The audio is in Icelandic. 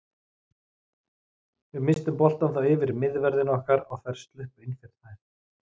Við misstum boltann þá yfir miðverðina okkar og þær sluppu inn fyrir þær.